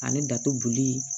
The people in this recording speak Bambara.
Ani datuguli